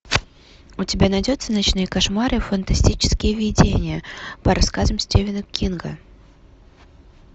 у тебя найдется ночные кошмары фантастические видения по рассказам стивена кинга